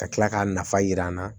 Ka tila k'a nafa jira an na